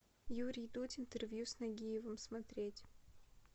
юрий дудь интервью с нагиевым смотреть